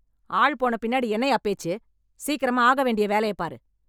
ஆள் போன பின்னாடி என்னையா பேச்சு? சீக்கிரமா ஆகா வேண்டிய வேலைய பாரு